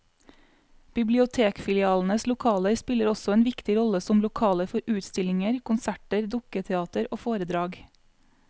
Bibliotekfilialenes lokaler spiller også en viktig rolle som lokaler for utstillinger, konserter, dukketeater og foredrag.